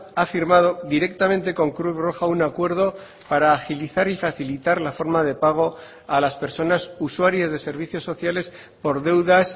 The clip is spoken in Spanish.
ha firmado directamente con cruz roja un acuerdo para agilizar y facilitar la forma de pago a las personas usuarias de servicios sociales por deudas